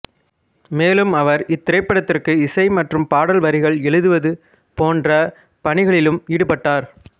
மேலும் அவர் இத்திரைப்படத்திற்கு இசை மற்றும் பாடல் வரிகள் எழுதுவது போன்ற பணிகளிலும் ஈடுபட்டார்